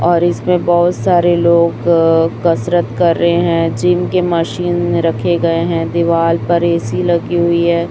और इसमें बहुत सारे लोग कसरत कर रहे हैं जिम के मशीन में रखे गए हैं दीवाल पर ए_सी लगी हुई है।